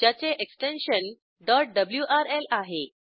ज्याचे extension wrl आहे